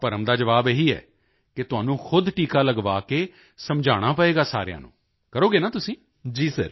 ਤਾਂ ਭਰਮ ਦਾ ਜਵਾਬ ਇਹੀ ਹੈ ਕਿ ਤੁਹਾਨੂੰ ਖੁਦ ਟੀਕਾ ਲਗਵਾ ਕੇ ਸਮਝਾਉਣਾ ਪਵੇਗਾ ਸਾਰਿਆਂ ਨੂੰ ਕਰੋਗੇ ਨਾ ਤੁਸੀਂ